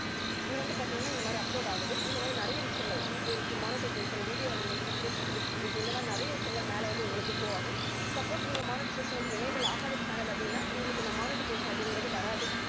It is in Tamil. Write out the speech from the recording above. இது வந்து பாத்தீங்கன்னா இந்த மாதிரி upload ஆகுது. இதுல வந்து நிறைய விஷயங்கள் details, monetization, video elements, text visibility இந்த மாதிரி நிறைய விஷயங்கள் மேல வந்து உங்களுக்கு show ஆகும். suppose நீங்க monetization வந்து enable ஆகாத channel அப்படின்னா உங்களுக்கு இந்த monetization அப்படிங்கிறது வராது